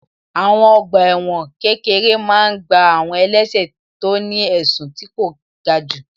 Àwọn ọgbà ẹ̀wọ̀n kékeré máa n gbá àwọn ẹlẹ́sẹ̀ tó ní ẹ̀sùn tí kò ga jù